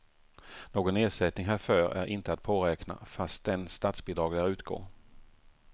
Någon ersättning härför är inte att påräkna, fastän statsbidrag lär utgå.